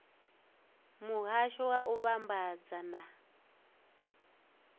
muhasho wa u vhambadza na